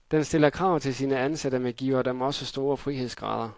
Den stiller krav til sine ansatte, men giver dem også store frihedsgrader.